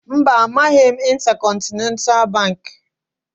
Mba, amaghị m Intercontinental Baankị